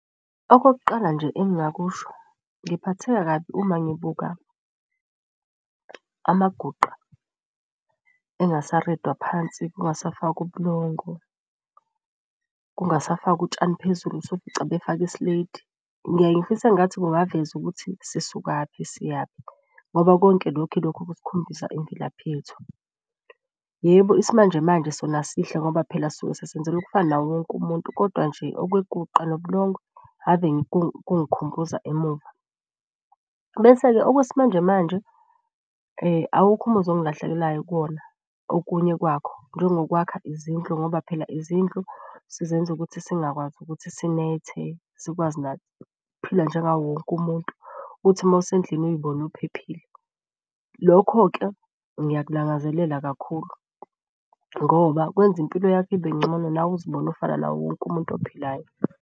Okokuqala nje engingakusho ngiphatheka kabi uma ngibuka amaguqa phansi, kungasafakwa ubulongo, kungasafakwa utshani phezulu, usufica befake isleti. Ngiyaye ngifise engathi kungavezwa ukuthi sisukaphi siyaphi ngoba konke lokhu ilokhu okusikhombisa imvelaphi yethu. Yebo, isimanjemanje sona sihle ngoba phela sisuke sesenzela ukufana nawo wonke umuntu, kodwa nje okweguqa nobulongo ave kungikhumbuza emuva. Bese-ke okwesimanjemanje awukhu umuzwa ongilahlekelayo kuwona okunye kwakho njengo kwakha izindlu. Ngoba phela izindlu sizenza ukuthi singakwazi ukuthi sinethe, sikwazi nathi ukuphila njengawo wonke umuntu. Uthi mawusendlini uy'bone uphephile. Lokho-ke ngiyakulangazelela kakhulu ngoba kwenza impilo yakho ibengcono, nawe uzibone ufana nawo wonke umuntu ophilayo.